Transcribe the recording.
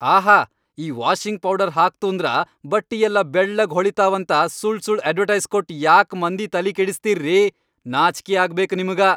ಆಹಾ ಈ washing powder ಹಾಕ್ತೂಂದ್ರ ಬಟ್ಟಿಯೆಲ್ಲ ಬೆಳ್ಳಗ್ ಹೊಳಿತಾವಂತ ಸುಳ್ಸುಳ್ ಅಡ್ವಟೈಸ್ ಕೊಟ್ ಯಾಕ್ ಮಂದಿ ತಲಿಕೆಡಸ್ತೀರ್ರೀ, ನಾಚ್ಕಿ ಆಗ್ಬೇಕ್ ನಿಮ್ಗ.